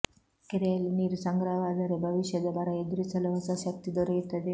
ಕೆರೆಯಲ್ಲಿ ನೀರು ಸಂಗ್ರಹವಾದರೆ ಭವಿಷ್ಯದ ಬರ ಎದುರಿಸಲು ಹೊಸ ಶಕ್ತಿ ದೊರೆಯುತ್ತದೆ